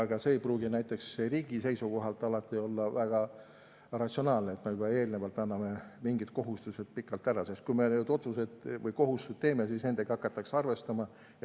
Aga see ei pruugi näiteks riigi seisukohalt alati väga ratsionaalne olla, et me juba eelnevalt mingid kohustused pikaks ära, sest kui me need otsused teeme või kohustused, siis nendega hakatakse arvestama.